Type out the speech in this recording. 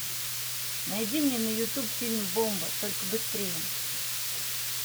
найди мне на ютюб фильм бомба только быстрее